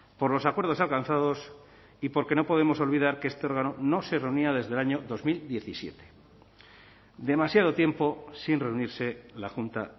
por los acuerdos alcanzados y porque no podemos olvidar que este órgano no se reunía desde el año dos mil diecisiete demasiado tiempo sin reunirse la junta